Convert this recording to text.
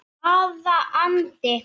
Hvaða andi?